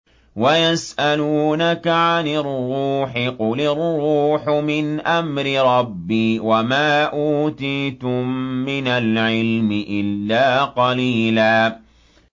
وَيَسْأَلُونَكَ عَنِ الرُّوحِ ۖ قُلِ الرُّوحُ مِنْ أَمْرِ رَبِّي وَمَا أُوتِيتُم مِّنَ الْعِلْمِ إِلَّا قَلِيلًا